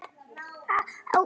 Það hafi því miður gerst.